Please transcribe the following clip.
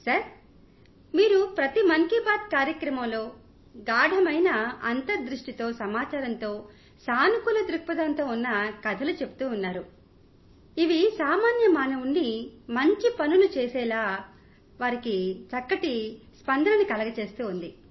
sir ప్రతి మన్ కీ బాత్ కార్యక్రమమూ గాఢమైన అంతర్దృష్టి తో సమాచారంతో సానుకూలదృక్పథం ఉన్న కథలతో ఇంకా సామాన్య మానవుడి మంచి పనులతో నిండి ఉంటోంది